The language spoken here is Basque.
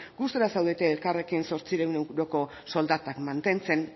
gustura zaudete elkarrekin zortziehun euroko soldatak mantentzen